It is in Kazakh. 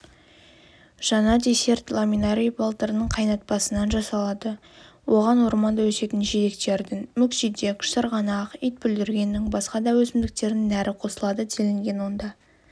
жаңа десерт ламинарий балдырының қайнатпасынан жасалады оған орманда өсетін жидектердің мүкжидек шырғанақ итбүлдіргеннің басқа да өсімдіктердің нәрі қосылады делінген онда